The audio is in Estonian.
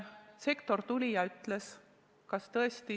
Sektor tuli ja ütles!